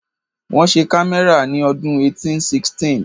Wọ́n ṣe kámẹ́rà ní ọdún 1816